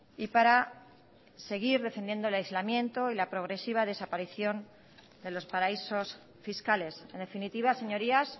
y para seguir defendiendo el aislamiento y la progresiva desaparición de los paraísos fiscales en definitiva señorías